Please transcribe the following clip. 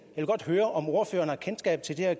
vil godt høre om ordføreren har kendskab til det her